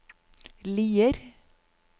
Lier